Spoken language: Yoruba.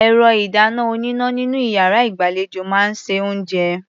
Ẹ̀rọ-ìdáná-oníná nínú iyàrá ìgbàlejò máa ń se oúnjẹ.